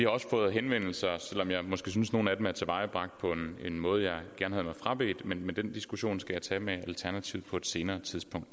også fået henvendelser selv om jeg måske synes at nogle af dem er tilvejebragt på en måde jeg gerne havde frabedt mig men den diskussion skal jeg tage med alternativet på et senere tidspunkt